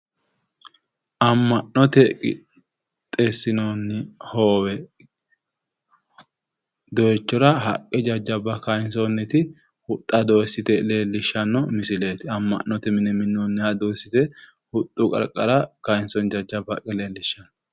Amma'note qixxeessinonni hoowe dooyiichora haqqe jajjabba kaayinsoonniti huxxa dooyiissite leellishanno misileeti. amma'note mine minnoonniha dooyiissite huxxu qarqara kaayiinsoonni jajjabba haqqe leellishshawo.